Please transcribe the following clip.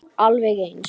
Alveg eins!